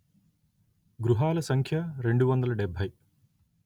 గృహాల సంఖ్య రెండు వందల డెబ్బై